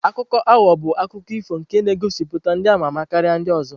Akuko ahugho bụ akụkọ ifo nke na-egosipụta ndị ama-ama karịa ndị ọzọ.